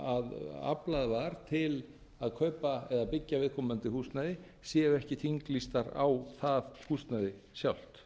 sem aflað var til að kaupa eða byggja viðkomandi húsnæði séu ekki þinglýstar á það húsnæði sjálft